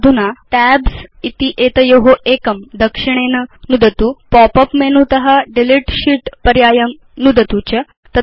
अधुना टैब्स् इत्येतयो एकं दक्षिणेन नुदतु pop उप् मेनुत डिलीट शीत् पर्यायं नुदतु च